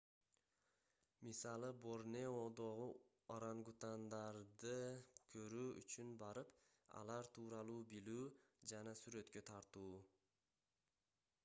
мисалы борнеодогу орангутангдарды көрүү үчүн барып алар тууралуу билүү жана сүрөткө тартуу